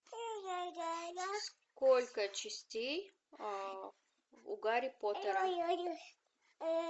сколько частей у гарри поттера